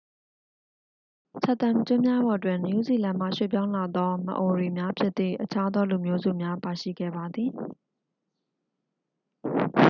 chatham ကျွန်းများပေါ်တွင် နယူးဇီလန်မှ ရွှေ့ပြောင်းလာသော မအိုရီ များဖြစ်သည့် အခြားသောလူမျိုးစုပါရှိခဲ့ပါသည်